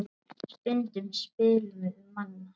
Stundum spilum við Manna.